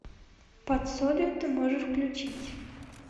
под солью ты можешь включить